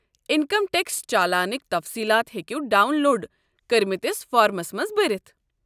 Income tax چالانٕكہِ تفصیلات ہیٚکِو ڈاون لوڈ کرِمتِس فارمَس منٛز بٔرِتھ۔